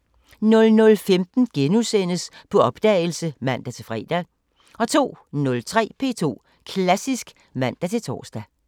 00:15: På opdagelse *(man-fre) 02:03: P2 Klassisk (man-tor)